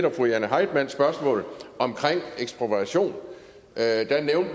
og fru jane heitmanns spørgsmål om ekspropriation